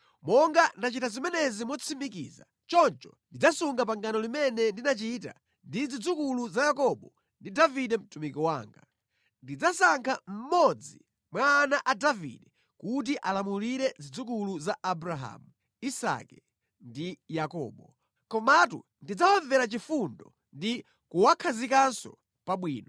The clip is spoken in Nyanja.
monga ndachita zimenezi motsimikiza, choncho ndidzasunga pangano limene ndinachita ndi zidzukulu za Yakobo ndi Davide mtumiki wanga. Ndidzasankha mmodzi mwa ana a Davide kuti alamulire zidzukulu za Abrahamu, Isake ndi Yakobo. Komatu ndidzawamvera chifundo ndi kuwakhazikanso pabwino.’ ”